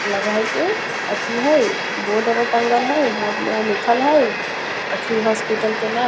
लगे हेय की अथी हेय बोर्ड आर टांगल हेय बोर्ड मे लिखल हेय अथी हॉस्पिटल के नाम।